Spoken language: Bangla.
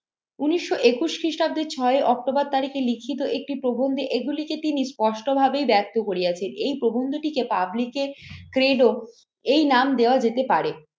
উনিশশো একুশ খ্রিস্টাব্দের ছয়ে অক্টোবর তারিখে লিখিত একটি প্রবন্ধে এগুলিকে তিনি স্পষ্ট ভাবেই ব্যক্ত করিয়াছে। এই প্রবন্ধটিকে পাবলিকের এই নাম দেওয়া যেতে পারে।